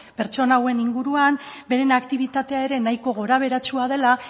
pertsona hauen inguruan bere aktibitatea ere nahiko gorabeheratsua dela